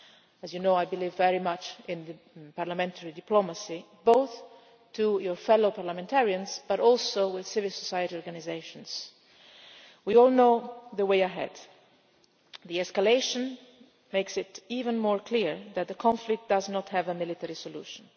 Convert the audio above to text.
As you know, I believe very much in parliamentary diplomacy, both with your fellow parliamentarians but also with civil society organisations. We all know the way ahead. The escalation makes it even clearer that the conflict does not have a military solution.